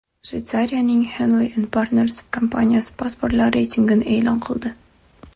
Shveysariyaning Henley&Partners kompaniyasi pasportlar reytingini e’lon qildi .